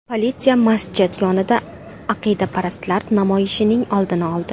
Politsiya masjid yonida aqidaparastlar namoyishining oldini oldi.